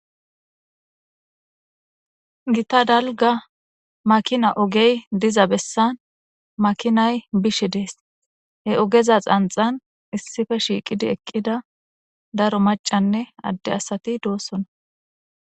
gita dalga makina ogey diza bessan makinay bish dees, he ogeza xanxan issippe shiiqidi eqqida daro macanne adde asati doossona